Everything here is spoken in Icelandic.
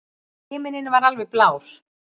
Himinninn var alveg blár.